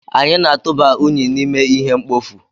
Anyị na-atụba unyi n'ime ihe mkpofu.